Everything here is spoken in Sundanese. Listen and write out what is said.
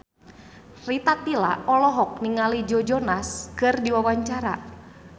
Rita Tila olohok ningali Joe Jonas keur diwawancara